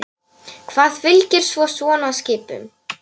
Hvað fylgir svo svona skipum?